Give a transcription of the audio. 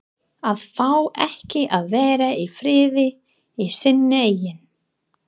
AÐ FÁ EKKI AÐ VERA Í FRIÐI Í SÍNU EIGIN